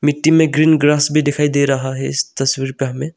मिट्टी में green grass भी दिखाई दे रहा है इस तस्वीर पे हमें--